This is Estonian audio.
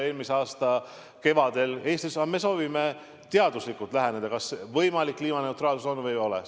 Me soovime teaduslikult läheneda sellele, kas kliimaneutraalsus on või ei ole võimalik.